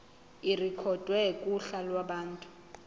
irekhodwe kuhla lwabantu